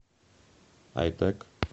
айтек